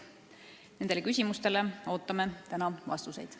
Nendele küsimustele ootame täna vastuseid.